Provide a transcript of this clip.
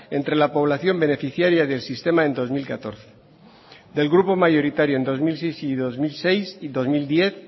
entre la población beneficiaria del sistema en dos mil catorce del grupo mayoritario en dos mil seis y dos mil diez